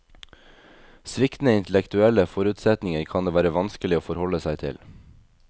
Sviktende intellektuelle forutsetninger kan det være vanskeligere å forholde seg til.